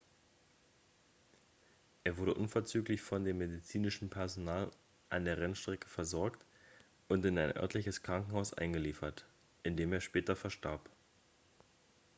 er wurde unverzüglich von dem medizinischen personal an der rennstrecke versorgt und in ein örtliches krankenhaus eingeliefert in dem er später verstarb